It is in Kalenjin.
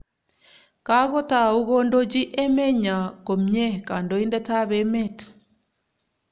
Kakotau kondochi emenyo komnye kandoindetap emet